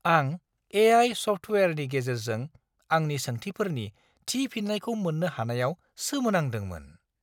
आं ए.आइ. सफ्टवेयारनि गेजेरजों आंनि सोंथिफोरनि थि फिननायखौ मोन्नो हानायाव सोमोनांदोंमोन!